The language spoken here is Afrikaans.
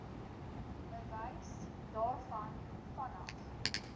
bewys daarvan vanaf